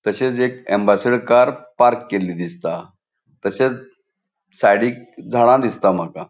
तशेच एक Ambassador car park केल्ली दिसता. तशेच साइडिक झाडा दिसता माका.